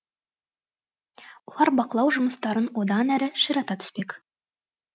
олар бақылау жұмыстарын одан әрі ширата түспек